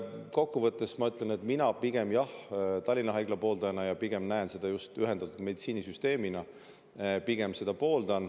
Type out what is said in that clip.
Kokku võttes ma ütlen, et mina pigem Tallinna Haigla pooldajana näen seda just ühendatud meditsiinisüsteemina, pooldan seda.